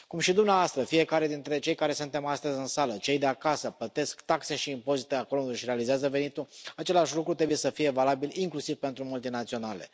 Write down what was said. Cum și dumneavoastră, fiecare dintre cei care suntem astăzi în sală, cei de acasă plătesc taxe și impozite acolo unde își realizează venitul, același lucru trebuie să fie valabil inclusiv pentru multinaționale.